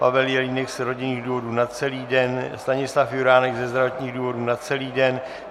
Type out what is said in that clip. Pavel Jelínek z rodinných důvodů na celý den, Stanislav Juránek ze zdravotních důvodů na celý den.